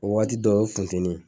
O waati dɔw o ye funteni ye